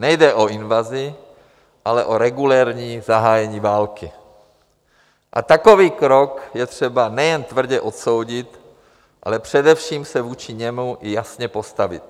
Nejde o invazi, ale o regulérní zahájení války, a takový krok je třeba nejen tvrdě odsoudit, ale především se vůči němu i jasně postavit.